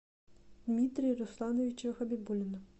дмитрия руслановича хабибуллина